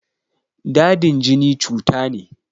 Dadin jini cuta ne.